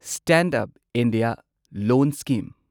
stand up India loan scheme